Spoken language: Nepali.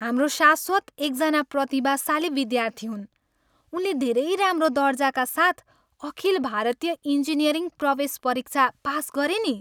हाम्रो शाश्वत एकजना प्रतिभाशाली विद्यार्थी हुन्! उनले धेरै राम्रो दर्जाका साथ अखिल भारतीय इन्जिनियरिङ प्रवेश परीक्षा पास गरे नि।